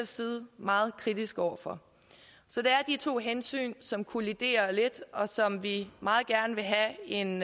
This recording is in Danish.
side meget kritiske over for så det er de to hensyn som kolliderer lidt og som vi meget gerne vil have en